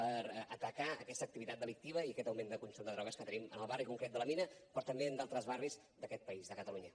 per atacar aquesta activitat delictiva i aquest augment del consum de drogues que tenim en el barri concret de la mina però també en d’altres barris d’aquest país de catalunya